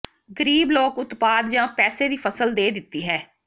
ਗਰੀਬ ਲੋਕ ਉਤਪਾਦ ਜ ਪੈਸੇ ਦੀ ਫ਼ਸਲ ਦੇ ਦਿੱਤੀ ਹੈ